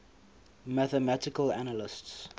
mathematical analysts